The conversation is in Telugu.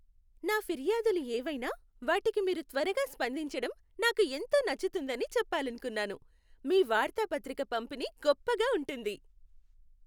నా ఫిర్యాదులు ఏవైనా వాటికి మీరు త్వరగా స్పందించటం నాకు ఎంతో నచ్చుతుందని చెప్పాలనుకున్నాను. మీ వార్తాపత్రిక పంపిణీ గొప్పగా ఉంటుంది.